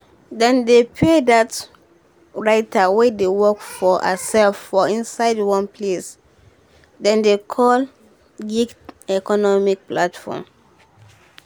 dem dey pay dat writer wey dey work for hersef for inside one place dem dey call gig economy platform